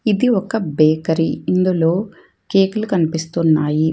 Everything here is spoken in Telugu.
ఇది ఒక బేకరీ ఇందులో కేకులు కనిపిస్తున్నాయి.